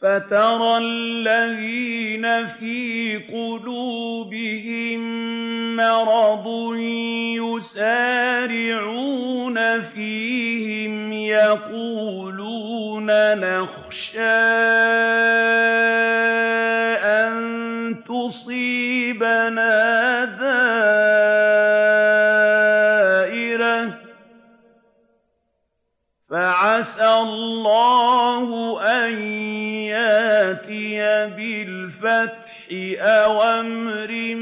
فَتَرَى الَّذِينَ فِي قُلُوبِهِم مَّرَضٌ يُسَارِعُونَ فِيهِمْ يَقُولُونَ نَخْشَىٰ أَن تُصِيبَنَا دَائِرَةٌ ۚ فَعَسَى اللَّهُ أَن يَأْتِيَ بِالْفَتْحِ أَوْ أَمْرٍ